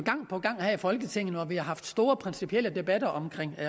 på gang her i folketinget når vi har haft store principielle debatter om